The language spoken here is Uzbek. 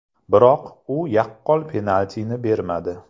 Biroq u yaqqol penaltini bermadi.